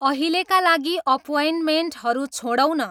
अहिलेका लागि अप्वइन्टमेन्टहरू छोडौँ न